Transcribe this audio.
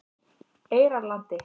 Eyjarlandi